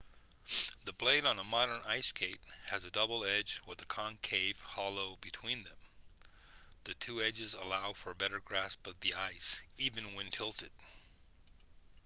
the blade on a modern ice skate has a double edge with a concave hollow between them the two edges allow for a better grasp of the ice even when tilted